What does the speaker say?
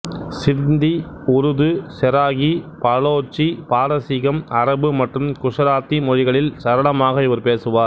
சிந்தி உருது செராகி பலோச்சி பாரசீகம் அரபு மற்றும் குசராத்தி மொழிகளில் சரளமாக இவர் பேசுவார்